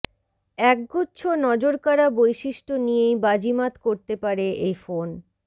একগুচ্ছ নজরকাড়া বৈশিষ্ট্য নিয়েই বাজিমাত করতে পারে এই ফোন